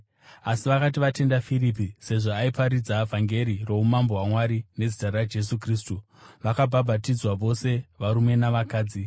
Asi vakati vatenda Firipi sezvo aiparidza vhangeri roumambo hwaMwari nezita raJesu Kristu, vakabhabhatidzwa, vose varume navakadzi.